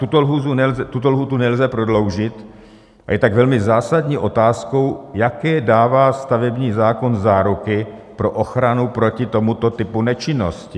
Tuto lhůtu nelze prodloužit a je tak velmi zásadní otázkou, jaké dává stavební zákon záruky pro ochranu proti tomuto typu nečinnosti.